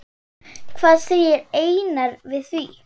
Hvað segir Einar við því?